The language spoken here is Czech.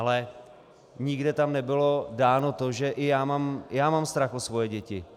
Ale nikde tam nebylo dáno to, že i já mám strach o svoje děti.